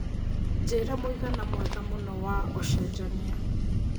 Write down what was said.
njĩira mũigana mwega mũno wa ũcenjanĩa